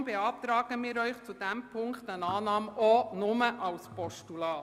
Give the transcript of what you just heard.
Aus diesem Grund beantragen wir Ihnen in diesem Punkt eine Annahme nur in Form eines Postulats.